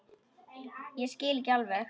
Ég skil ekki alveg